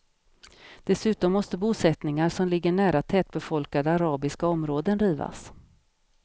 Dessutom måste bosättningar som ligger nära tätbefolkade arabiska områden rivas.